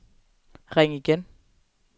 ring igen